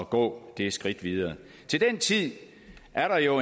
gå det skridt videre til den tid er der jo